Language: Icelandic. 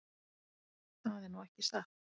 Það er nú ekki satt.